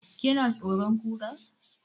Ki na tsoron Kura?